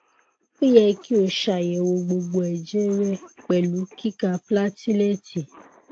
o yẹ ki o ṣayẹwo gbogbo ẹjẹ rẹ pẹlu kika plateleti